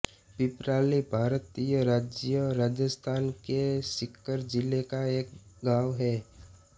पिपराली भारतीय राज्य राजस्थान के सीकर जिले का एक गाँव है